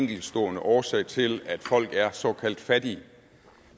enkeltstående årsag til at folk er såkaldt fattige